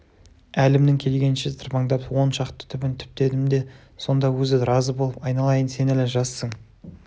әлімнің келгенінше тырбаңдап он шақты түбін түптедім де сонда өзі разы болып айналайын сен әлі жассың